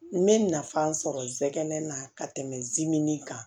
N bɛ nafa sɔrɔ zɛnɛ na ka tɛmɛ zimɛnin kan